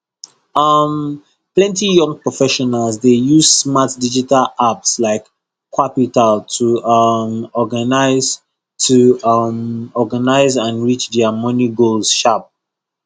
um plenty young professionals dey use smart digital apps like qapital to um organise to um organise and reach their money goals sharp